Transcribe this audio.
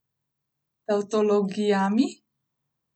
Tavtologijami?